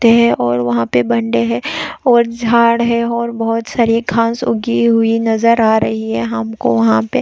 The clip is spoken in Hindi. ते हैं और वहाँ पे बंदे हैं और झाड़े हैं और बहुत सारे घास उगी हुए नज़र आ रही हैं हमको वहाँ पे--